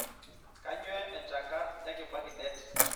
kainyio enchangar ekibaki det